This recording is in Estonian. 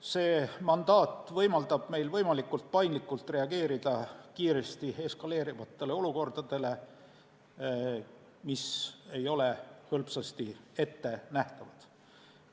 See mandaat võimaldab meil võimalikult paindlikult reageerida kiiresti eskaleeruvatele olukordadele, mis ei ole hõlpsasti ettenähtavad.